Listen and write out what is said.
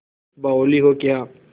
बावली हो क्या